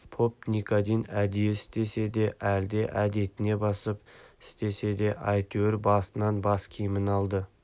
поп никодим әдейі істесе де әлде әдетіне басып істесе де әйтеуір басынан бас киімін алды